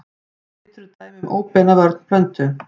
Litur er dæmi um óbeina vörn plöntu.